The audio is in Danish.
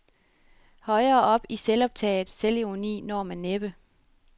Højere op i selvoptaget selvironi når man næppe.